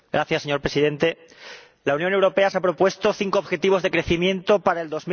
Señor Presidente, la Unión Europea se ha propuesto cinco objetivos de crecimiento para el